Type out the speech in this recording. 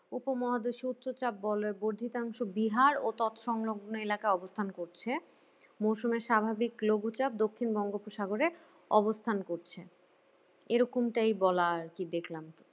উপমহাদেশে উচ্চচাপ বলয়ের বর্ধিতাংশ বিহার ও তৎ সংলগ্ন এলাকায় অবস্থান করছে মরশুমে স্বাভাবিক লঘুচাপ দক্ষিণ বঙ্গোপসাগরে অবস্থান করছে এরকমটাই বলা আর কি দেখলাম